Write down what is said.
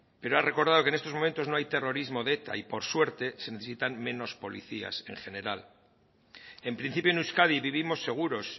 pero ha recordado que en estos momentos no hay terrorismo de eta y por suerte se necesitan menos policías en general en principio en euskadi vivimos seguros